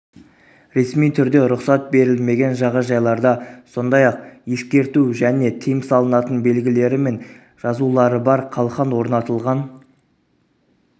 ресми түрде рұқсат берілмеген жағажайларда сондай-ақ ескерту және тыйым салынатын белгілері мен жазылары бар қалқан орнатылған